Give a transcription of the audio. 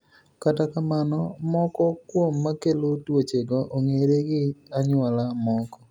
Kata kamano mako kuom makelo tuoche go ong'ere gi anyuola moko.